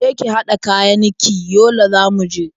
Je ki haɗa kayan ki, Yola za mu je.